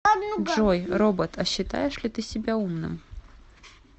джой робот а считаешь ли ты себя умным